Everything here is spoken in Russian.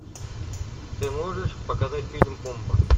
ты можешь показать фильм бомба